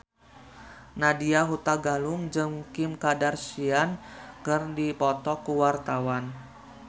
Nadya Hutagalung jeung Kim Kardashian keur dipoto ku wartawan